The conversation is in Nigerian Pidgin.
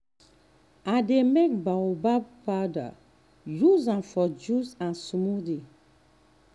i dey make baobab powder use am for juice and smoothie.